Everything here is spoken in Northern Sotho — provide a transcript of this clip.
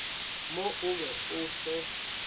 mo o be o fe